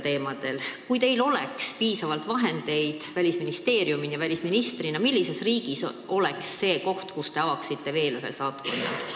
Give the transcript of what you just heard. Kui Välisministeeriumil oleks piisavalt vahendeid, millises riigis te avaksite veel ühe saatkonna?